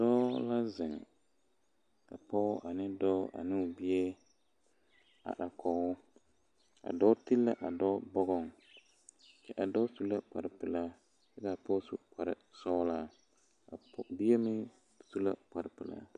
Dɔɔ la zeŋ ka pɔge ane o dɔɔ ane o bie are kɔge o a dɔɔ ti la dɔɔ bɔgɔŋ a dɔɔ su la kparepelaa kyɛ ka a pɔge su kparesɔglaa a bie meŋ su la kparepelaa.